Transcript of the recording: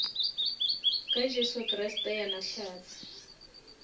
ka jesu kriste yena hlatse